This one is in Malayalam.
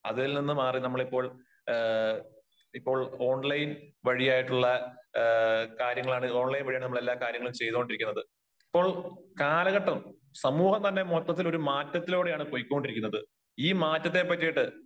അതിൽ നിന്നും മാറി നമ്മൾ ഇപ്പോൾ ഏ ഏ ഇപ്പോൾ ഓൺലൈൻ വഴിയായിട്ടുള്ള ഏ കാര്യങ്ങളാണ് ഓൺലൈൻ വഴിയാണ് നമ്മൾ ഓരോ കാര്യങ്ങൾ ചേയ്തോണ്ടിരിക്കുന്നത് അപ്പോൾ കാലഘട്ടം സമൂഹം തന്നെ ഇപ്പോ ഒരു മാറ്റത്തിലൂടെയാണ് പൊയ്ക്കൊണ്ടിരിക്കുന്നത് ഈ മാറ്റത്തിന്